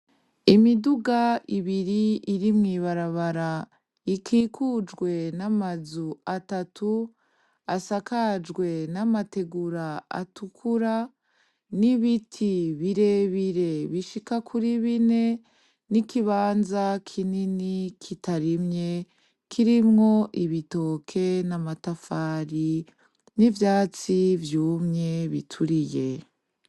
Imiduga ibiri iri mwibarabara ikikujwe n'amazu atatu asakajwe n'amategura gatukura, n'ibiti bire bire bishika kuri bine, n'ikibanza kinini kitarimye kirimwemwo ibitoke, n'amatafari n'ivyatsi vyumye bituriye.